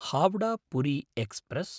Howrah Puri express